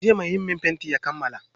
Jiya mai yi min fenti ya kammala aikin.